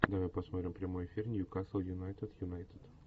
давай посмотрим прямой эфир ньюкасл юнайтед юнайтед